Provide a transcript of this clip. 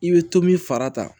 I bɛ tomi fara ta